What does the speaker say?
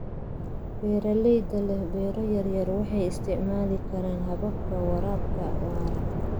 Beeralayda leh beero yaryar waxay isticmaali karaan hababka waraabka waara.